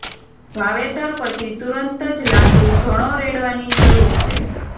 વાવેતર પછી તુરંત જ લાકડું ઘણો રેડવાની જરૂર છે